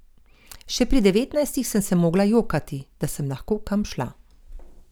Še pri devetnajstih sem se mogla jokati, da sem lahko kam šla.